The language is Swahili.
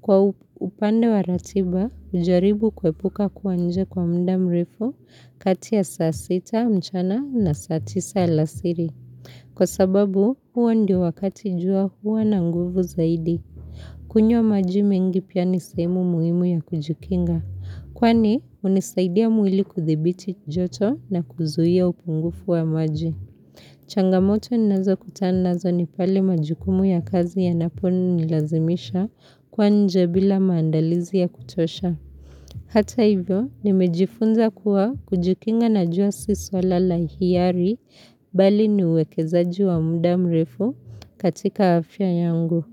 Kwa upande wa ratiba, ujaribu kuepuka kuwanje kwa mda mrefu kati ya saa sita mchana na saa tisa alasiri. Kwa sababu, hua ndio wakati jua hua na nguvu zaidi. Kunywa maji mengi pia nisehemu muhimu ya kujikinga. Kwani, unisaidia mwili kuthibiti joto na kuzuhia upungufu wa maji. Changamoto ninazo kutandazo nipale majukumu ya kazi yanaponu nilazimisha kwa nje bila maandalizi ya kutosha. Hata hivyo, nimejifunza kuwa kujikinga na jua siswa lala hiyari bali ni uwekeza jua muda mrefu katika afya yangu.